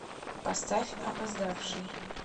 поставь опоздавший